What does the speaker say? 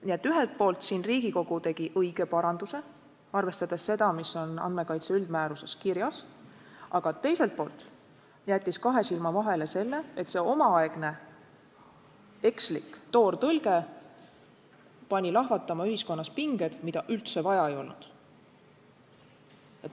Nii et ühelt poolt Riigikogu tegi õige paranduse, arvestades seda, mis on andmekaitse üldmääruses kirjas, aga teiselt poolt jättis kahe silma vahele selle, et see omaaegne ekslik toortõlge pani lahvatama ühiskonnas pinged, mida üldse vaja ei olnud.